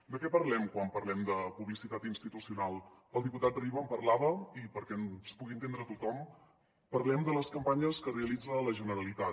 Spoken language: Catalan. de què parlem quan parlem de publicitat institucional el diputat riba en parlava i perquè ens pugui entendre tothom parlem de les campanyes que realitza la generalitat